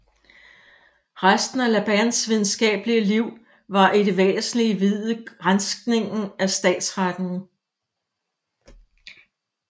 Resten af Labands videnskabelige Liv var i det væsentlige viet granskningen af statsretten